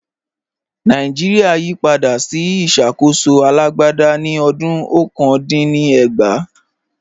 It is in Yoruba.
Nàìjíríà yí padà sí ìṣàkóso alágbádá ní ọdún ọ̀kan dín ní ẹgbàá